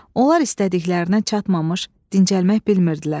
Onlar istədiklərinə çatmamış dincəlmək bilmirdilər.